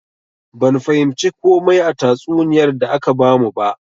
Ban fahimci komai a tatsuniyar da aka bamu ba.